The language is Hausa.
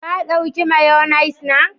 Ka dauka " mayonnaise " na?